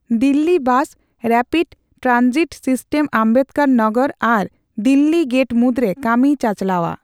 Delhi bus rapid transit system Ambedkar Nagar ᱟᱨ Delhi gate ᱢᱩᱫᱽᱨᱮ ᱠᱟᱹᱢᱤᱭ ᱪᱟᱪᱞᱟᱣᱼᱟ ᱾